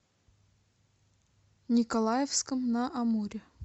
николаевском на амуре